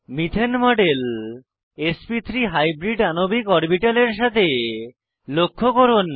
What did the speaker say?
methane model এসপি3 hybrid আণবিক অরবিটালের সাথে লক্ষ্য করুন